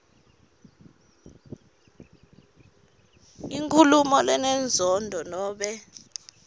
inkhulumo lenenzondo nobe